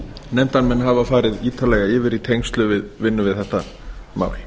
nefndarmenn hafa farið ítarlega yfir í tengslum við vinnu við þetta mál